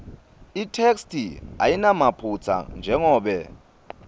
itheksthi ayinamaphutsa njengobe